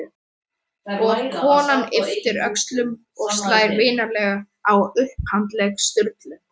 Og konan ypptir öxlum og slær vinalega á upphandlegg Sturlu.